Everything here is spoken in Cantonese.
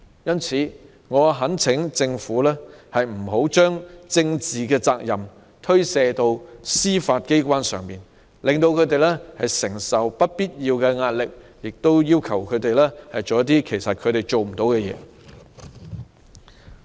因此，我懇請政府不要將政治責任推卸到司法機關，令他們承受不必要壓力，或要求他們做一些他們做不來的事情。